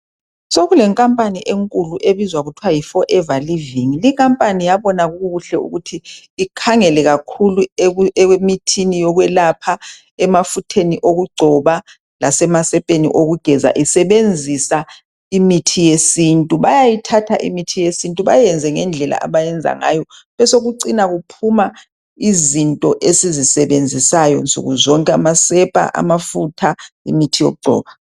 sokule nkampani enkulu okubizwa kuthiwa yi forever living leyi khampani yabona kukuhle ukuthi ikhangele kakhulu okwemithini yokwelapha emafutheni wokugcoba lasemasepeni wokugeza isebenzisa imithi yesintu bayayithatha imithi yesintu bayiyenze ngendlela abayiyenza ngayo besokuphuma izinto esizisebenzisayo insukuzonke amasepha amafutha imithi yokugcoba